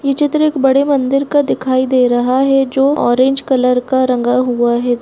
ये चित्र एक बड़े मंदिर का दिखाई दे रहा है जो ऑरेंज कलर का रंगा हुआ है।